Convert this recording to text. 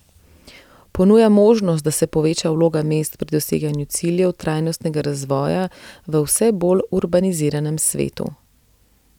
Ponuja možnost, da se poveča vloga mest pri doseganju ciljev trajnostnega razvoja v vse bolj urbaniziranem svetu.